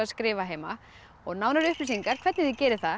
skrifa heima og nánari upplýsingar hvernig þið gerið það